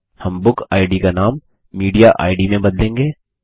हम बुकिड का नाम मीडिएड में बदलेंगे